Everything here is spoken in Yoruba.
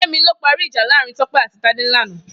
Femi ló pàrí ijà láàrin Tope àtí Tade làná